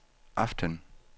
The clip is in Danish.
aften